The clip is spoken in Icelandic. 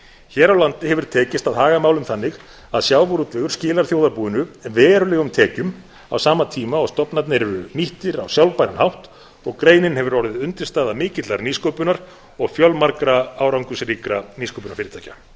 hér á landi hefur tekist að haga málum þannig að sjávarútvegur skilar þjóðarbúinu verulegum tekjum á sama tíma og stofnarnir eru nýttir á sjálfbæran hátt og greinin hefur orðið undirstaða mikillar nýsköpunar og fjölmargra árangursríkra nýsköpunarfyrirtækja